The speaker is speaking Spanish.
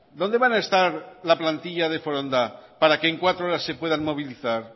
dónde van a estar la plantilla de foronda para que en cuatro horas se puedan movilizar